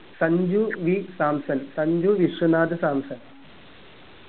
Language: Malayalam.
സഞ്ജു v സാംസൺ സഞ്ജു വിശ്വനാഥ സാംസൺ